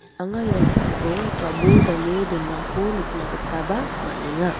anga ia noksao jabol dane donako nikna gitaba man·enga.